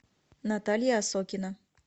наталья осокина